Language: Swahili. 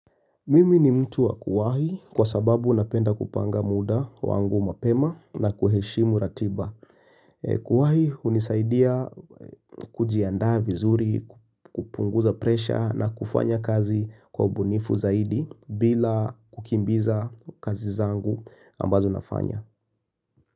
Mimi ni mtu wa kuwahi kwa sababu napenda kupanga muda wangu mapema na kuheshimu ratiba. Kuwahi hunisaidia kujiandaa vizuri, kupunguza presha na kufanya kazi kwa ubunifu zaidi bila kukimbiza kazi zangu ambazo nafanya.